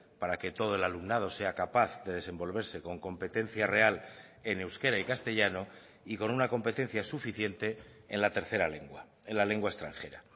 para que todo el alumnado sea capaz de desenvolverse con competencia real en euskera y castellano y con una competencia suficiente en la tercera lengua en la lengua extranjera